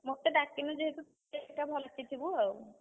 ମତେ ଡାକିନୁ ଯେହେତୁ, ଥିବୁ ଆଉ।